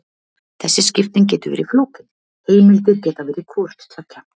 Þessi skipting getur verið flókin: heimildir geta verið hvort tveggja.